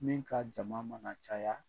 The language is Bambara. Min ka jama mana caya.